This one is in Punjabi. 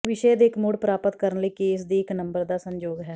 ਵਿਸ਼ੇ ਦੇ ਇੱਕ ਮੁੜ ਪ੍ਰਾਪਤ ਕਰਨ ਲਈ ਕੇਸ ਦੀ ਇੱਕ ਨੰਬਰ ਦਾ ਸੰਯੋਗ ਹੈ